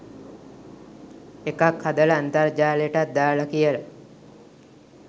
එකක් හදලා අන්තර්ජාලෙටත් දාලා කියලා